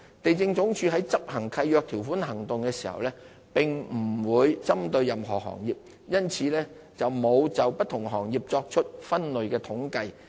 地政總署於執行契約條款行動時並不會針對任何行業，因此並沒有就不同行業作出分類統計。